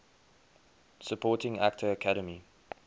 supporting actor academy